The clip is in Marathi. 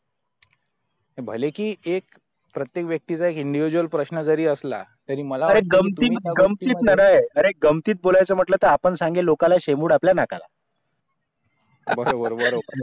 भले कि एक प्रत्यक वक्तीचा एक individual प्रश्ण जरी असला तरी मला अरे गमती अरे गमती बोलायचे ती म्हंटले तर आपण सांगेल लोकां शेमबुड़ आपल्या नाकाला बरोबर बरोबर